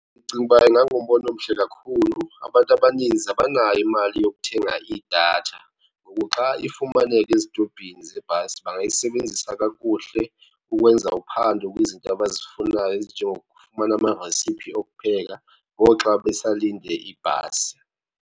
Ndicinga uba ingangumbono omhle kakhulu. Abantu abaninzi abanayo imali yokuthenga idatha ngoku xa ifumaneka ezitobhini zebhasi bangayisebenzisa kakuhle ukwenza uphando kwizinto abazifunayo ezinjengokufumana amarasiphi okupheka ngoxa besalinde ibhasi.